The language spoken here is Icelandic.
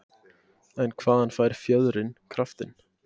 En hvaðan fær fjöðrin kraftinn?